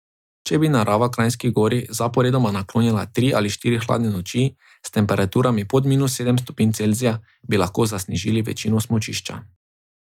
Če bi narava Kranjski Gori zaporedoma naklonila tri ali štiri hladne noči s temperaturami pod minus sedem stopinj Celzija, bi lahko zasnežili večino smučišča.